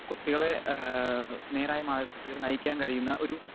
speaker 2 കുട്ടികളെ ഏഹ് നേരായ മാർഗ്ഗത്തിലേക്ക് നയിക്കാൻ കഴിയുന്ന ഒരു